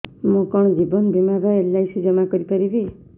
ମୁ କଣ ଜୀବନ ବୀମା ବା ଏଲ୍.ଆଇ.ସି ଜମା କରି ପାରିବି